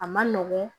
A ma nɔgɔn